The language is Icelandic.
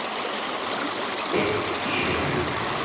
Eitt í heiminum.